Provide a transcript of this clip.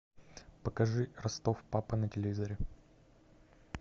покажи ростов папа на телевизоре